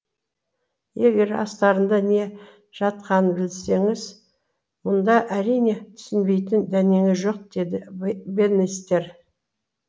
егер астарында не жатқанын білсеңіз мұнда әрине түсінбейтін дәнеңе жоқ деді бэннистер